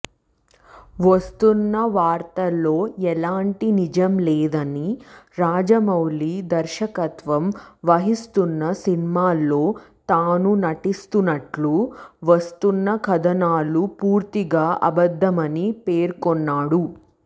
వస్తోన్న వార్తల్లో ఎలాంటి నిజంలేదని రాజమౌళి దర్శకత్వం వహిస్తోన్న సినిమాలో తాను నటిస్తున్నట్లు వస్తున్న కథనాలు పూర్తిగా అబద్దమని పేర్కొన్నాడు